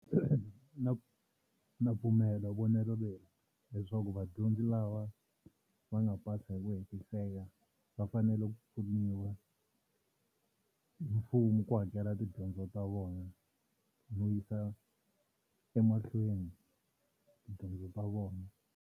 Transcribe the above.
Na, na pfumelo vonelo leri leswaku vadyondzi lava va nga pasa hi ku hetiseka va fanele ku pfuniwa hi mfumo ku hakela tidyondzo ta vona no yisa emahlweni tidyondzo ta vona.